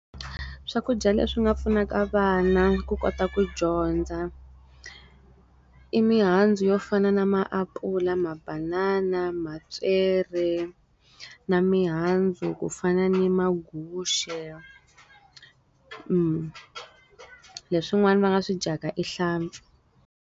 Swakudya leswi nga pfunaka vana ku kota ku dyondza. I mihandzu yo fana na maapula, ma banana, mapyere. Na mihandzu ku fana ni maguxe . Leswin'wana va nga swi dyaka i hlampfi.